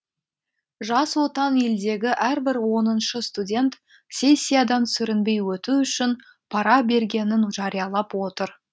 жас отан елдегі әрбір оныншы студент сессиядан сүрінбей өту үшін пара бергенін жариялап отыр